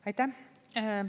Aitäh!